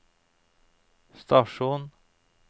stasjon